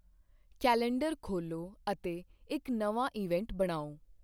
calendar ਖੋਲ੍ਹੋ ਅਤੇ ਇੱਕ ਨਵਾਂ ਇਵੈਂਟ ਬਣਾਓ